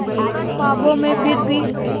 ख्वाबों में फिर भी